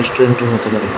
পেইন্টের মতো লাগে।